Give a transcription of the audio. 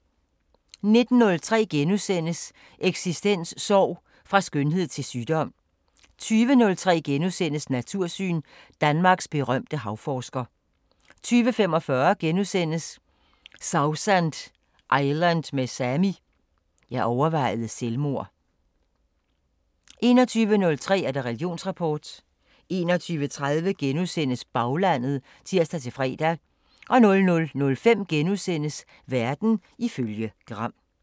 19:03: Eksistens: Sorg – fra skønhed til sygdom * 20:03: Natursyn: Danmarks berømte havforsker * 20:45: Sausan Island med Sami: "Jeg overvejede selvmord" * 21:03: Religionsrapport 21:30: Baglandet *(tir-fre) 00:05: Verden ifølge Gram *